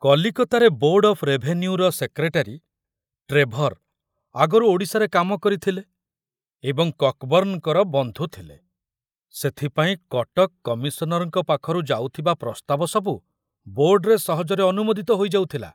କଲିକତାରେ board of ରେଭେନ୍ୟୁର secretary Trevor ଆଗରୁ ଓଡ଼ିଶାର କାମ କରିଥିଲେ ଏବଂ କକବର୍ଣ୍ଣଙ୍କର ବନ୍ଧୁଥିଲେ, ସେଥିପାଇଁ କଟକ କମିଶନରଙ୍କ ପାଖରୁ ଯାଉଥିବା ପ୍ରସ୍ତାବ ସବୁ ବୋର୍ଡରେ ସହଜରେ ଅନୁମୋଦିତ ହୋଇଯାଉଥିଲା।